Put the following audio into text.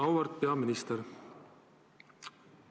Auväärt peaminister!